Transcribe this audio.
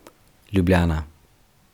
Ljubljana.